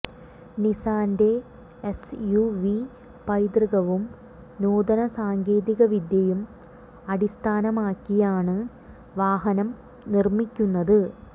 നിസ്സാന്റെ S U V പൈതൃകവും നൂതന സാങ്കേതികവിദ്യയും അടിസ്ഥാനമാക്കിയാണ് വാഹനം നിര്മ്മിക്കുന്നത്